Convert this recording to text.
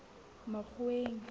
makgoweng